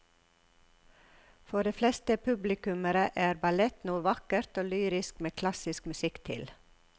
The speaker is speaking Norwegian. For de fleste publikummere er ballett noe vakkert og lyrisk med klassisk musikk til.